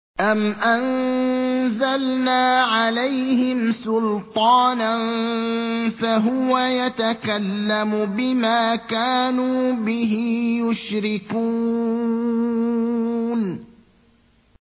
أَمْ أَنزَلْنَا عَلَيْهِمْ سُلْطَانًا فَهُوَ يَتَكَلَّمُ بِمَا كَانُوا بِهِ يُشْرِكُونَ